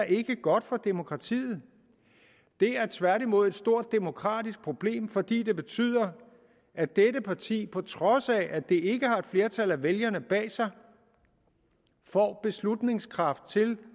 ikke er godt for demokratiet det er tværtimod et stort demokratisk problem fordi det betyder at dette parti på trods af at det ikke har et flertal af vælgerne bag sig får beslutningskraft til